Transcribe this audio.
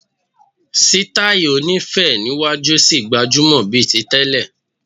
Sítáì oní féé níwájú ṣì gbajúmọ̀ bíi ti tẹ́lẹ̀.